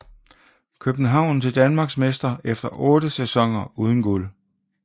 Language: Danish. København til Danmarksmester efter 8 sæsoner uden guld